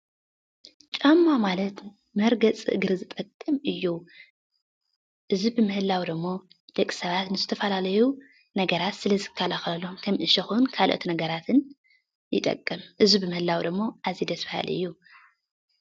ጫማ ማለት መርገፂ እግሪ ዝጠቅም እዩ። እዚ ብምህላው ደማ ደቂ ሰባት ንዝተፈላለዩ ነገራት ስለ ዝከላኸሎም ከም እሾኽን ካልኦት ነገራትን ይጠቅም። እዚ ብምህላዉ ደሞ ኣዝዩ ደስ በሃሊ እዩ።